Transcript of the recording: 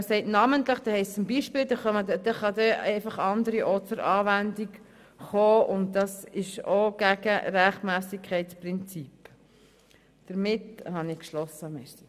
Das Wort «namentlich» bedeutet «zum Beispiel», sodass auch andere beigezogen werden können, was aber gegen das Rechtmässigkeitsprinzip verstösst.